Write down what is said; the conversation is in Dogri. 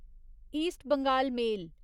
ईस्ट बंगाल मेल